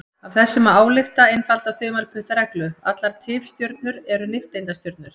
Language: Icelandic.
Af þessu má álykta einfalda þumalputtareglu: Allar tifstjörnur eru nifteindastjörnur.